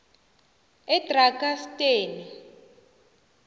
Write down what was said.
edrakansteni